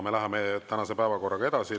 Me läheme tänase päevakorraga edasi.